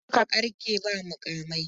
Haka suka ƙarke ba muƙamai.